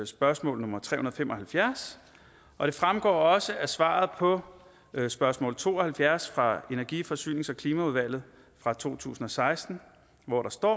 spørgsmål nummer tre hundrede og fem og halvfjerds og det fremgår også af svaret på spørgsmål nummer to og halvfjerds fra energi forsynings og klimaudvalget fra to tusind og seksten hvor der står